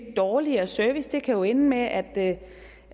dårligere service det kan jo ende med at